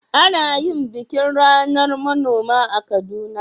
Ana yin bikin ranar manoma a Kaduna?